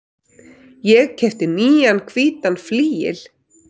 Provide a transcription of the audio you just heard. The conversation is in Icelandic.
Ég keypti nýjan hvítan flygil.